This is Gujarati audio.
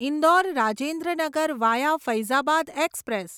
Indore Rajendra Nagar via Faizabad express